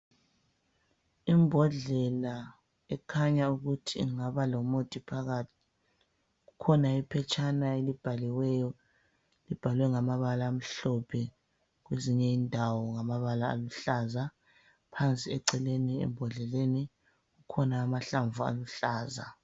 Imbodlela ekhanya ukuthi ingaba lomuthi phakathi. Kukhona iphetshana elibhaliweyo, libhalwe ngamabala amhlophe. Kwezinye indawo ngamabala aluhlaza, phansi eceleni ebhodleleni kukhona amahlamvu aluhlaza.